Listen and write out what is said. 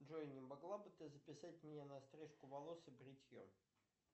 джой не могла бы ты записать меня на стрижку волос и бритье